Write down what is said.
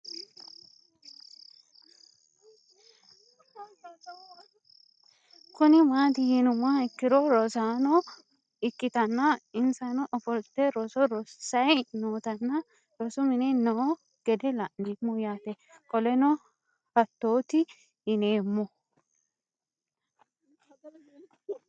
Kuni mati yinumoha ikiro rosano ikitana insano ofolite roso rosayi nootano rosu mine no gede la'nemo yaate qoleno hatoti yinemo